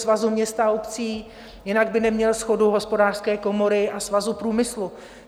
Svazu měst a obcí, jinak by neměl shodu Hospodářské komory a Svazu průmyslu.